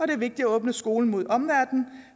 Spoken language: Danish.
det er vigtigt at åbne skolen mod omverdenen